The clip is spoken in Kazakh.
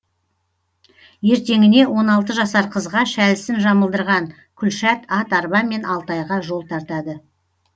ертеңіне он алты жасар қызға шәлісін жамылдырған күлшат ат арбамен алтайға жол тартады